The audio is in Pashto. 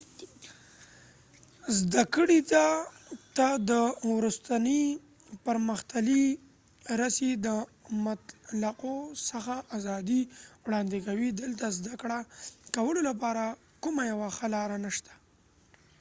زده کړې ته د وروستې پرمختللې رسي د مطلقو څخه آزادي وړاندې کوي دلته د زده کړه کولو لپاره کومه یوه ښه لاره نشته